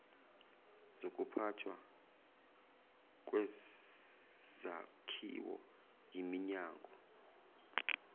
zokuphathwa kwezakhiwo yiminyango